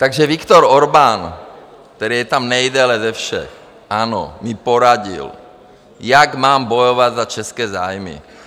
Takže Viktor Orbán, který je tam nejdéle ze všech, ano, mi poradil, jak mám bojovat za české zájmy.